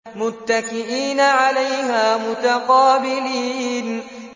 مُّتَّكِئِينَ عَلَيْهَا مُتَقَابِلِينَ